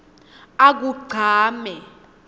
akugcame